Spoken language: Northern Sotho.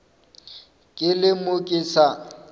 ke le mo ke sa